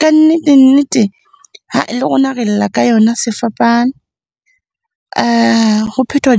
ka nnete-nnete, le rona re lla ka yona sefapano. Ho phethwa